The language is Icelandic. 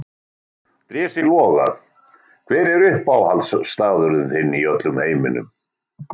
Drési Loga Hver er uppáhaldsstaðurinn þinn í öllum heiminum?